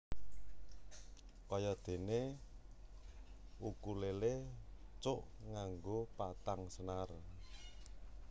Kaya déné ukulélé cuk nganggo patang senar